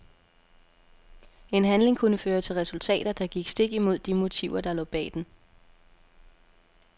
En handling kunne føre til resultater, der gik stik imod de motiver der lå bag den.